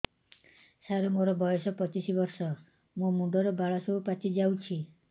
ସାର ମୋର ବୟସ ପଚିଶି ବର୍ଷ ମୋ ମୁଣ୍ଡରେ ବାଳ ସବୁ ପାଚି ଯାଉଛି